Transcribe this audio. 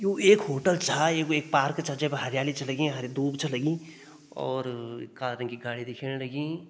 यू एक होटल छा यू एक पार्क छा जै पर हरियाली छ लगीं हरी दूब छ लगीं और काले रंग की गाड़ी दिखेण लगीं।